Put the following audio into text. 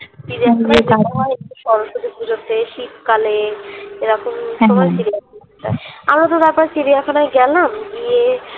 চিড়িয়াখানায় ভালো হয় সরস্বতী পুজোতে শীত কালে এরকম সময় আমরা তো চিড়িয়াখানায় গেলাম গিয়ে